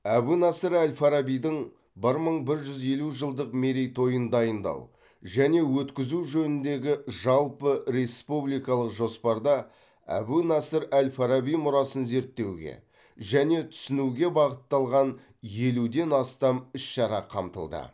әбу насыр әл фарабидің бір мың бір жүз елу жылдық мерейтойын дайындау және өткізу жөніндегі жалпыреспубликалық жоспарда әбу насыр әл фараби мұрасын зерттеуге және түсінуге бағытталған елуден астам іс шара қамтылды